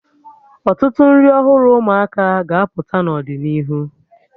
Ọtụtụ nri ọhụrụ ụmụaka ga-apụta n'ọdịnihu